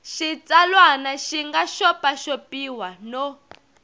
xitsalwana xi nga xopaxopiwa no